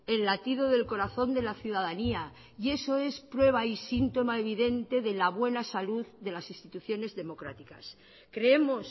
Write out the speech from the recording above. el latido del corazón de la ciudadanía y eso es prueba y síntoma evidente de la buena salud de las instituciones democráticas creemos